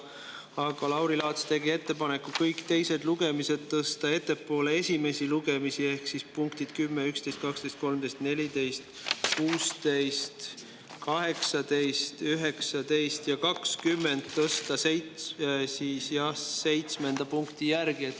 Aga Lauri Laats tegi ettepaneku kõik teised lugemised tõsta ettepoole esimesi lugemisi ehk punktid 10, 11, 12, 13, 14, 16, 18, 19 ja 20 tõsta seitsmenda punkti järele.